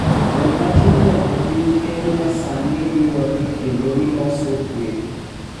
Joma tindo e piny Kenya sani riwre kendo giloso kweth